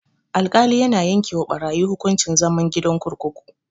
Alkali yana yanke wa barayi hukuncin zama gidan kurkuku.